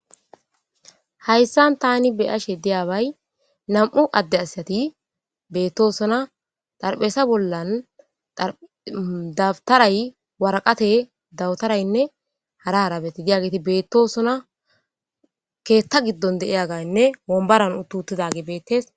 Hayssan thaani be7ashe diyaabay nam7u adde asathhi beeththoosona;xarphesa bollan daftharay, woraqathee, dawutharanne hara harabathi diyaabathi beeththoosona;keeththa giddon de7iyaabaynne wonbbaran uththuuththidaagee beeththes.